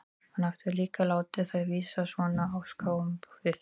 Hann hafði líka látið þær vísa svona á ská upp á við.